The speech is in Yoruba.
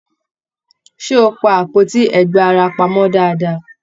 Ṣé o pá àpótí ẹgba ara pamọ dáadáa?